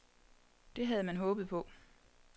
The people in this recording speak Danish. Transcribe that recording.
Det havde man håbet på.